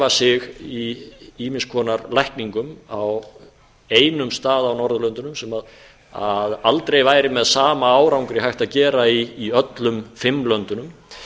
sig í ýmiss konar lækningum á einum stað á norðurlöndunum sem aldrei væri með sama árangri hægt að gera í öllum fimm löndunum